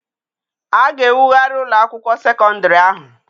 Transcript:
A ga-ewugharị ụlọ akwụkwọ sekọndịrị ahụ.